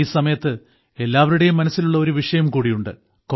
ഈ സമയത്ത് എല്ലാവരുടെയും മനസ്സിലുള്ള ഒരു വിഷയംകൂടിയുണ്ട്